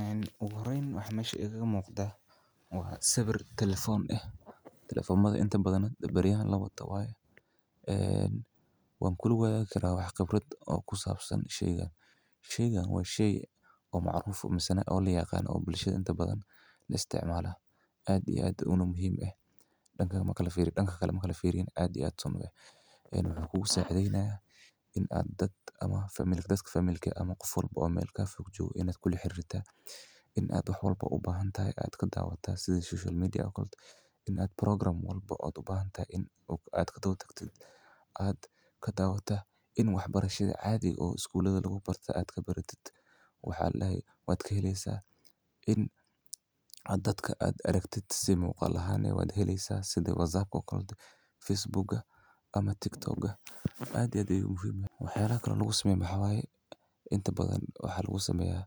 een, ugu horeyn waxa meshan Igaga muuqda? Waa sabir telefoon ah. Telefoonada inta badana beryahan labo tababayo. Ayaan waan ku wada kela wax kabrad oo ku saabsan sheygaan. Sheygaan waa shey oo macruf, ama sannado oo liyaqaan oo bulshada inta badan la isticmaala. Caadi aad uuna muhiim ah. Dhanka kale ma kalifiirey dhanka kale ma kalifiiriin caadi aad son ah. Eeyn wuxuu saaraynayaa inaad dad ama famil- dadka famailkay ama qof walbo oo meel ka fog joog inaad kulli xirirta. Inaad xalba u baahan tahay aad ka daawataa sidii social media akolda. Inaad program walba oo aad u baahan tahay in oo aad ka tagtid aad ka daawataa. In waxbarashada caadi oo iskuulada lagu barta aad ka baratid. Waxaa lahey waad ka heleysaa in... A dadka aad aragtid si muuqaal ahaan ee waad helayaa siday WhatsApp akood, Facebook ama Tiktok ga. Caadi aad ugu muhiima ah. Wuxuu raacaa lagu sameeyaa xawaaye. Inta badan waxaa lagu sameeyaa